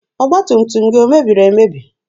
Ọgba tum tum gị omebiri emebi?